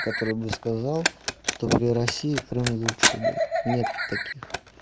который бы сказал что при россии крым лучше был нет таких